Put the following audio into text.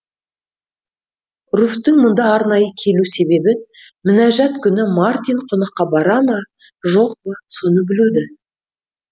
руфьтің мұнда арнайы келу себебі мінажат күні мартин қонаққа бара ма жоқ па соны білу ді